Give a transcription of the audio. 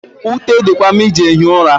Ute di kwa mma iji ehi ụra.